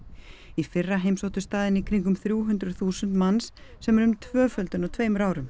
í fyrra heimsóttu staðinn í kringum þrjú hundruð þúsund manns sem er um tvöföldun á tveimur árum